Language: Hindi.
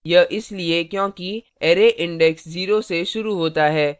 यह इसलिए क्योंकि array index 0 से शुरू होता है